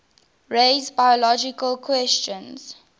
raise biological questions